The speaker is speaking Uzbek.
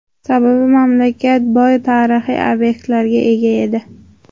Sababi, mamlakat juda boy tarixiy obyektlarga ega edi.